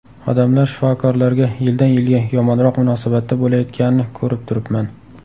Odamlar shifokorlarga yildan yilga yomonroq munosabatda bo‘layotganini ko‘rib turibman.